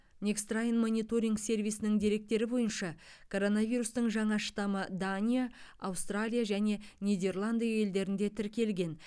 нэксттрайн мониторинг сервисінің деректері бойынша коронавирустың жаңа штаммы дания аустралия және нидерланд елдерінде тіркелген